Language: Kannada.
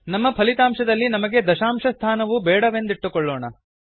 ನಮ್ಮ ಫಲಿತಾಂಶದಲ್ಲಿ ನಮಗೆ ದಂಶಾಶ ಸ್ಥಾನವು ಬೇಡವೆಂದಿಟ್ಟುಕೊಳ್ಳೋಣ